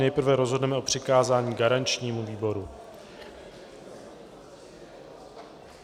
Nejprve rozhodneme o přikázání garančnímu výboru.